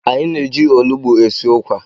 Anyị na-eji olụgbụ esi ukwa.